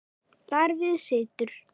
Þar við situr.